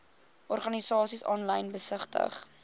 organisasies aanlyn besigtig